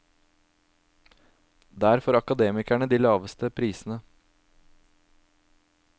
Der får akademikerne de laveste prisene.